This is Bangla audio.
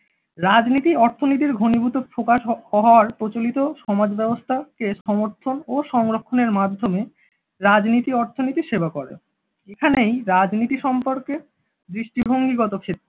রাজনীতি অর্থনীতির ঘনীভূত প্রকাশ হওয়ার প্রচলিত সমাজব্যবস্থা কে সমর্থন ও সংরক্ষণের মাধ্যমে রাজনীতি অর্থনীতির সেবা করে।